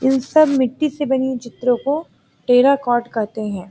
इन सब मिट्टी से बनी चित्र को टेराकोट कहते हैं|